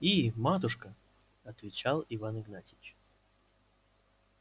и матушка отвечал иван игнатьич